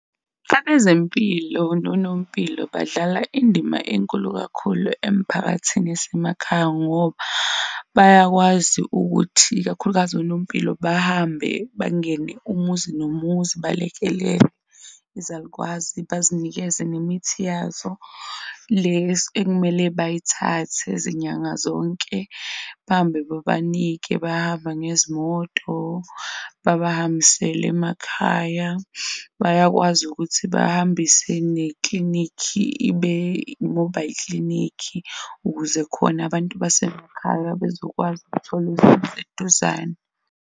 Abezempilo nonompilo badlala indima enkulu kakhulu emphakathini yasemakhaya ngoba bayakwazi ukuthi ikakhulukazi onompilo. Bahambe bangene umuzi nomuzi, balekelele izalukwazi, bazinikeze nemithi yazo le ekumele bayithathe izinyanga zonke, bahambe babanike, bahamba ngezimoto baba. Hambisele emakhaya bayakwazi ukuthi bahambise neklinikhi ibe-mobile clinic ukuze khona abantu basemakhaya bezokwazi ukuthola aseduzane.